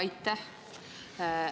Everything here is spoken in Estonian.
Aitäh!